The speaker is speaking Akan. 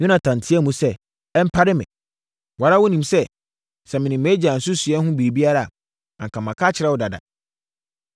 Yonatan teaam sɛ, “Ɛmpare me! Wo ara wonim sɛ, sɛ menim mʼagya nsusuiɛ no ho biribi a, anka maka akyerɛ wo dada.”